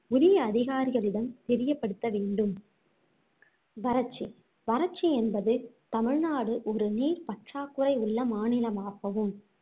உரிய அதிகாரிகளிடம் தெரியப்படுத்த வேண்டும் வறட்சி வறட்சி என்பது தமிழ்நாடு ஒரு நீர் பற்றாக்குறை உள்ள மாநிலமாகவும்